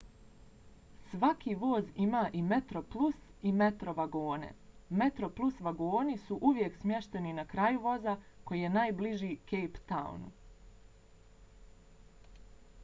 svaki voz ima i metroplus i metro vagone. metroplus vagoni su uvijek smješteni na kraju voza koji je najbliži cape townu